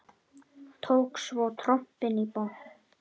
Tók svo trompin í botn.